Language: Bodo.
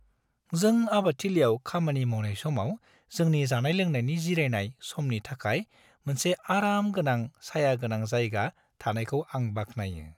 जों आबादथिलियाव खामानि मावनाय समाव जोंनि जानाय-लोंनायनि जिरायनाय समनि थाखाय मोनसे आराम आरो सायागोनां जायगा थानायखौ आं बाख्नायो।